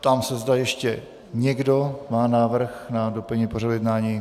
Ptám se, zda ještě někdo má návrh na doplnění pořadu jednání.